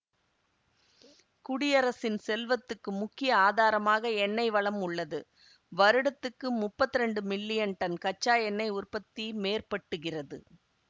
குடியரசின் செல்வத்துக்கு முக்கிய ஆதாரமாக எண்ணெய் வளம் உள்ளது வருடத்திற்கு முப்பத்தி இரண்டு மில்லியன் டன் கச்சா எண்ணெய் உற்பத்தி மேற்பட்டுகிறது